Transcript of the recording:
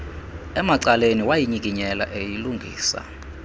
emacaleni wayinyikinyela eyilungisa